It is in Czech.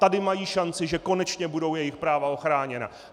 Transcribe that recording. Tady mají šanci, že konečně budou jejich práva ochráněna.